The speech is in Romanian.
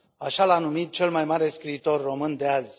Așa l a numit cel mai mare scriitor român de azi.